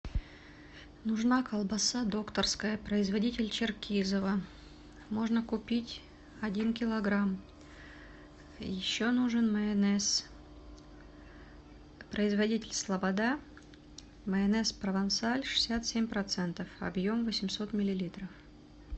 нужна колбаса докторская производитель черкизово можно купить один килограмм еще нужен майонез производитель слобода майонез провансаль шестьдесят семь процентов объем восемьсот миллилитров